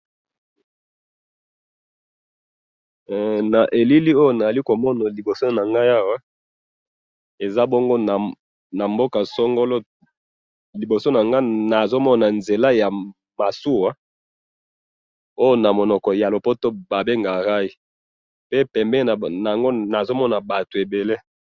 na bilili oyo nazali komona na liboso nangai awa eza bongo naboka ya songolo liboso nangai nazomona nzela ya pasuwa oyo namonoko ya lopoto babengaka rails pembeni nazomona batu ebele